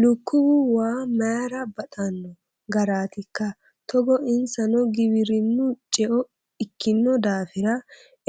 Lukkuwu waa mayra baxano garatikka togo insano giwirinu ceo ikkino daafira